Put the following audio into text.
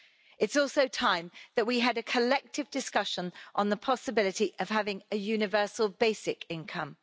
It is also time that we had a collective discussion on the possibility of having a universal basic income.